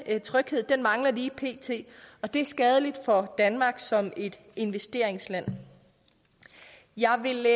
den tryghed mangler lige pt og det er skadeligt for danmark som et investeringsland jeg vil